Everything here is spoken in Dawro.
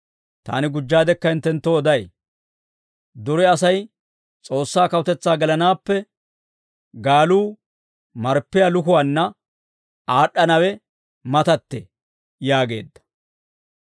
Taani gujjaadekka hinttenttoo oday; dure Asay S'oossaa kawutetsaa gelanaappe, gaaluu marppiyaa lukuwaanna aad'd'anawe matattee» yaageedda. C'aanettibeena Gaaluwaa Kaaletsiyaawaa